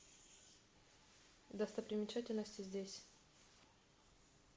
достопримечательности здесь